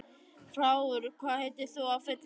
Frár, hvað heitir þú fullu nafni?